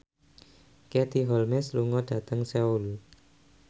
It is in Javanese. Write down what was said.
Katie Holmes lunga dhateng Seoul